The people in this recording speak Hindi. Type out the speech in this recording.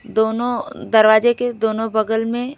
दोनों दरवाजे के दोनों बगल में--